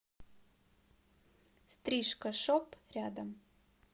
стрижка шоп рядом